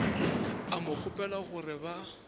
a mo kgopela gore ba